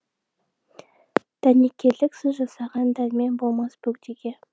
дәнекерлік сіз жасаған дәрмен болмас бөгдеге